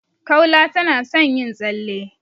Kaula tana son yin tsalle.